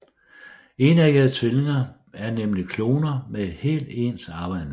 Enæggede tvillinger er nemlig kloner med helt ens arveanlæg